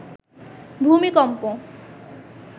ভূমিকম্প